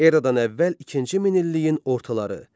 Eradan əvvəl ikinci minilliyin ortaları.